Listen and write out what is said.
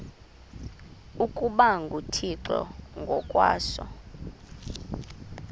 ukuba nguthixo ngokwaso